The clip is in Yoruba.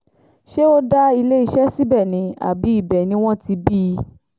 ṣé ó dá iléeṣẹ́ síbẹ̀ ni àbí ibẹ̀ ni wọ́n ti bí i